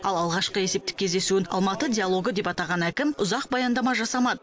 ал алғашқы есептік кездесуін алматы диалогы деп атаған әкім ұзақ баяндама жасамады